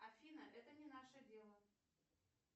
афина это не наше дело